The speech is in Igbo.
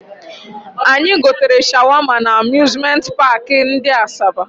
Anyị gotere shawama na Amuzmenti paakị ndị Asaba